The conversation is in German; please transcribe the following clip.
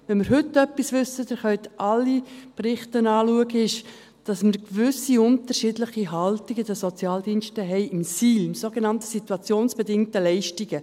– Wenn wir heute etwas wissen – ihr könnt alle Berichte anschauen –, ist es, dass wir gewisse unterschiedliche Haltungen in den Sozialdiensten haben, im SIL, in den sogenannten situationsbedingten Leistungen.